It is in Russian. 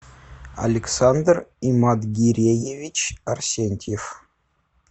александр иматгиреевич арсентьев